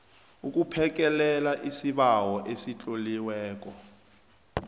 buphekelela isibawo esitloliweko